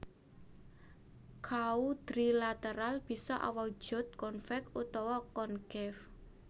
Quadrilateral bisa awujud convex utawa concave